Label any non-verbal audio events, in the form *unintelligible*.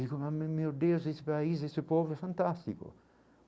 *unintelligible* meu Deus, esse país, esse povo é fantástico.